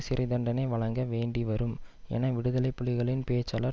சிறை தண்டனை வழங்க வேண்டி வரும் என விடுதலை புலிகளின் பேச்சாளர்